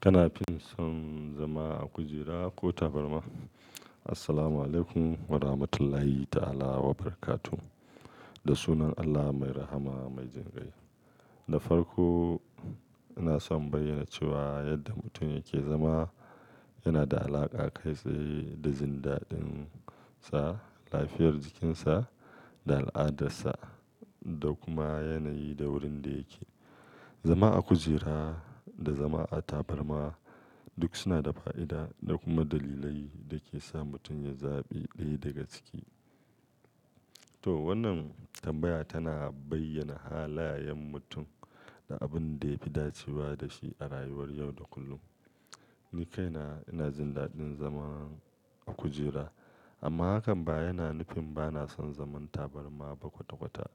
Kana fin son zama a kujera ko tabarma? Assalamualaikum warahmatullahi ta'ala wabarakatuh. Da sunan Allah mai rahama mai jinkai. Da farko, ina son bayyana cewa yadda mutum yake zama yana da alaƙa kai tsaye da jin dadin sa, lafiyar jikin sa da al'adarsa da kuma yanayi da wurin da yake. Zama a kujera da zama a tabarma duk suna da fa'ida da kuma dalilai da ke sa mutum ya zaɓi ɗaya daga ciki. To wannan tambaya tana bayyana halayen mutum da abin da ya fi dacewa da shi a rayuwar yau da kullum. Ni kaina ina jin daɗin zama a kujera amma hakan ba yana nufin bana son zaman tabarma ba kwata-kwata.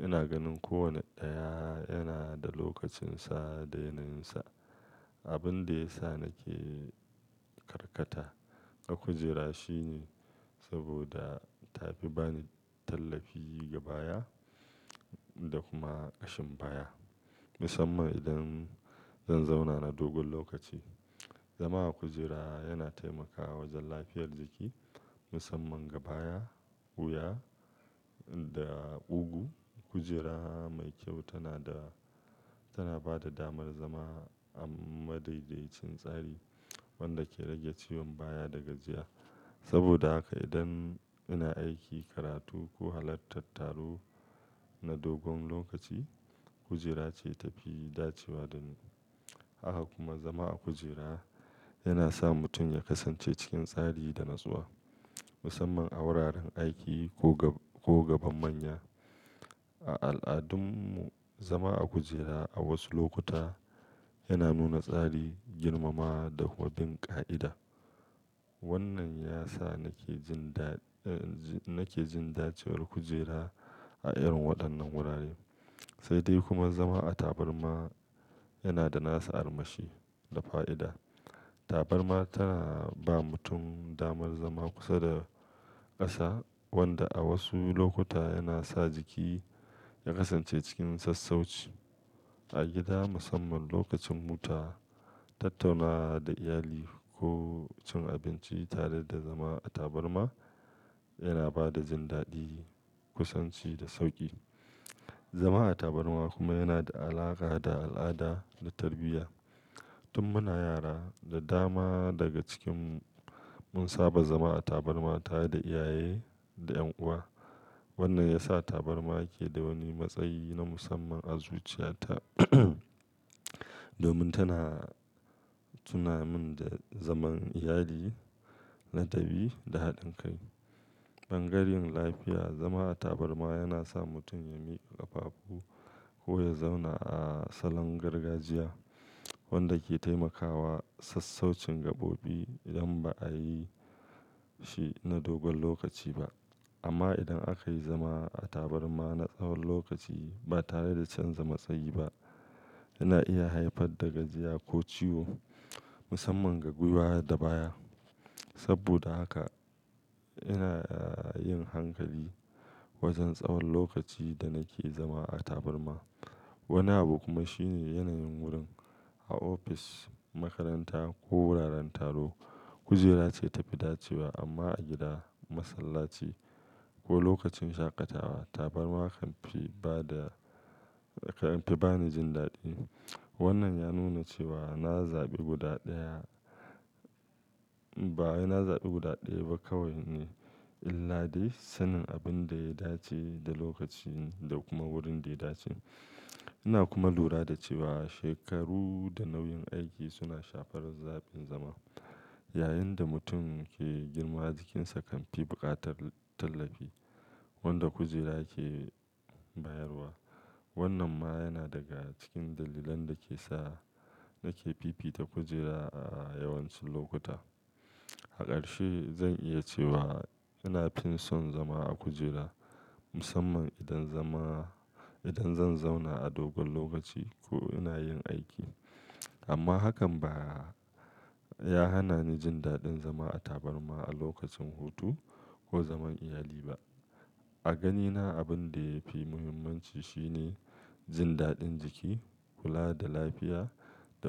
Ina ganin kowane ɗaya yana da lokacin sa da yanayin sa. Abin da ya sa nake karkata a kujera shine saboda ta fi bani tallafi gabaya da kuma ƙashin baya musamman idan zan zauna na dogon lokaci. Zama a kujera yana taimakawa wajen lafiyar jiki musamman gabaya, wuya da ugu. Kujera mai kyau tana da, tana ba da damar zama a madaidaicin tsari wanda ke rage ciwon baya da gajiya. Saboda haka idan ina aiki, karatu ko halartar taro na dogon lokaci, kujera ce ta fi dacewa da ni. Haka kuma zama a kujera yana sa mutum ya kasance cikin tsari da natsuwa musamman a wuraren aiki ko gaban manya. A al'adunmu zama a kujera a wasu lokuta yana nuna tsari, girmama da kuma bin ƙa'ida. Wannan ya sa nake jin daɗin, nake jin dacewar kujera a irin waɗannan wurare. Sai dai kuma zama a tabarma yana da nasa armashi da fa'ida. Tabarma tana ba mutum damar zama kusa da ƙasa wanda a wasu lokuta yana sa jiki ya kasance cikin sassauci. A gida musamman lokacin huta, tattauna da iyali ko cin abinci tare da zama a tabarma yana ba da jin daɗi, kusanci da sauƙi. Zama a tabarma kuma yana da alaƙa da al'ada da tarbiyya. Tun muna yara da dama daga cikinmu mun saba zama a tabarma tare da iyaye da ƴan uwa. Wannan ya sa tabarma ke da wani matsayi na musamman a zuciyata domin tana tuna min da zaman iyali, ladabi da haɗin kai. Bangaren lafiya, zama a tabarma yana sa mutum ya miƙa ƙafafu ko ya zauna a salon gargajiya wanda ke taimakawa sassaucin gabobi idan ba a yi shi na dogon lokaci ba. Amma idan aka yi zama a tabarma na tsawon lokaci ba tare da canza matsayi ba, yana iya haifar da gajiya ko ciwo musamman ga gwiwa da baya. Saboda haka ina yin hankali wajen tsawon lokaci da nake zama a tabarma. Wani abu kuma shine yanayin wurin. A ofis, makaranta ko wuraren taro, kujera ce ta fi dacewa amma a gida, masallaci ko lokacin shaƙatawa tabarma kan fi ba da, kan fi ba ni jin daɗi. Wannan ya nuna cewa na zaɓi guda ɗaya, ba ina zaɓi guda ɗaya ba kawai ne illade sanin abin da ya dace da lokaci da kuma wurin da ya dace. Ina kuma lura da cewa shekaru da nauyin aiki suna shafar zaɓin zama. Yayinda mutum ke girma jikinsa kan fi buƙatar tallafi wanda kujera ke bayarwa. Wannan ma yana daga cikin dalilan da ke sa nake fifita kujera a yawancin lokuta. Haƙarshi zan iya cewa ina fin son zama a kujera musamman idan zama, idan zan zauna a dogon lokaci ko ina yin aiki. Amma hakan ba ya hana ni jin daɗin zama a tabarma a lokacin hutu ko zaman iyali ba. A ganina abin da ya fi muhimmanci shine jin daɗin jiki, kula da lafiya da kuma.